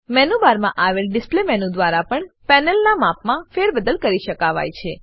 menu બારમાં આવેલ display menu દ્વારા પણ પેનલનાં માપમાં ફેરબદલ કરી શકાવાય છે